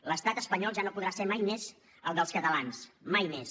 l’estat espanyol ja no podrà ser mai més el dels catalans mai més